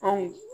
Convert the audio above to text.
Ayi